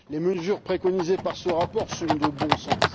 Les mesures préconisées par ce rapport sont de bon sens.